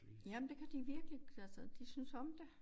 Jamen det kan de virkelig altså de synes om det